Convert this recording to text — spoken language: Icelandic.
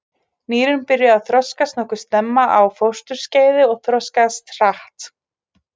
Nýrun byrja að þroskast nokkuð snemma á fósturskeiði og þroskast hratt.